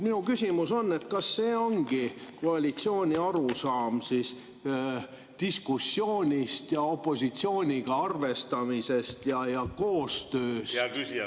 Minu küsimus on: kas see ongi koalitsiooni arusaam diskussioonist ja opositsiooniga arvestamisest ja koostööst?